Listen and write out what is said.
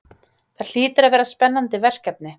Það hlýtur að vera spennandi verkefni?